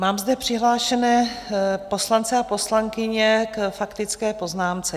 Mám zde přihlášené poslance a poslankyně k faktické poznámce.